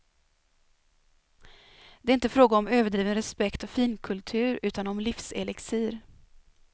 Det är inte fråga om överdriven respekt och finkultur utan om livselixir.